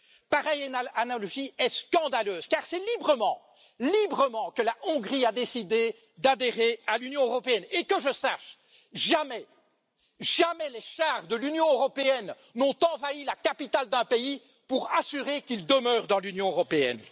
Pareille analogie est scandaleuse, car c'est librement que la Hongrie a décidé d'adhérer à l'Union européenne et, que je sache, jamais les chars de l'Union européenne n'ont envahi la capitale d'un pays pour faire en sorte qu'il demeure dans l'Union européenne.